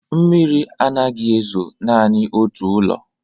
Mmiri anaghị ezo naanị n'otu ụlọ.